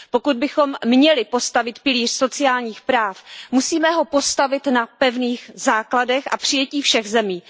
Pokud bychom měli postavit pilíř sociálních práv, musíme ho postavit na pevných základech a přijetí všech zemí.